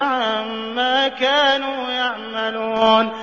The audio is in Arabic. عَمَّا كَانُوا يَعْمَلُونَ